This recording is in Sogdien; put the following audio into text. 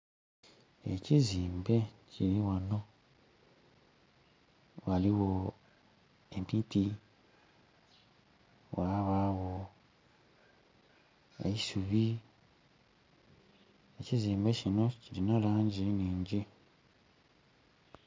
Ekizimbe kili ghano, ghaligho emiti ghabagho n'eisubi ekizimbe kino kilina langi nhingi.